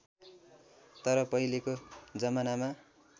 तर पहिलेको जमानामा